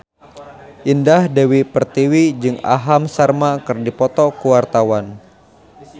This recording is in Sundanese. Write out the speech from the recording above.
Indah Dewi Pertiwi jeung Aham Sharma keur dipoto ku wartawan